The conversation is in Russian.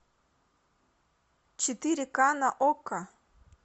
четыре ка на окко